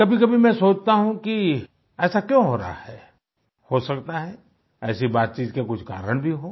कभी कभी मैं सोचता हूँ कि ऐसा क्यों हो रहा है हो सकता है ऐसी बातचीत के कुछ कारण भी हों